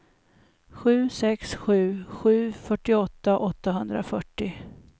sju sex sju sju fyrtioåtta åttahundrafyrtio